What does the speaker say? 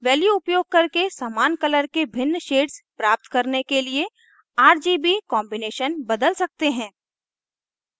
value उपयोग करके समान color के भिन्न shades प्राप्त करने के लिए rgb combination बदल सकते हैं